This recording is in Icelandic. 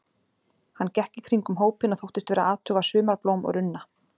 Hann gekk í kringum hópinn og þóttist vera að athuga sumarblóm og runna.